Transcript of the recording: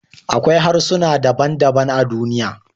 Akwai harsuna daban-daban a duniya